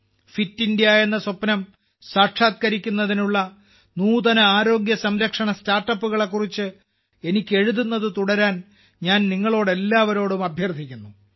fit India എന്ന സ്വപ്നം സാക്ഷാത്കരിക്കുന്നതിനുള്ള നൂതന ആരോഗ്യ സംരക്ഷണ സ്റ്റാർട്ടപ്പുകളെ കുറിച്ച് എനിക്ക് എഴുതുന്നത് തുടരാൻ ഞാൻ നിങ്ങളോട് എല്ലാവരോടും അഭ്യർത്ഥിക്കുന്നു